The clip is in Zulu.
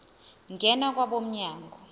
ngena kwabo mnyango